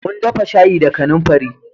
Mun dafa shayi da kanamfari